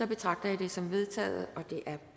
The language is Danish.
betragter jeg det som vedtaget